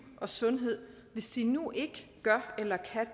og sundhed hvis de nu ikke gør eller